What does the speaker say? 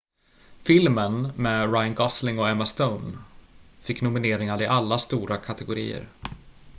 filmen med ryan gosling och emma stone fick nomineringar i alla stora kategorier